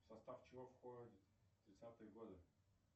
в состав чего входит тридцатые годы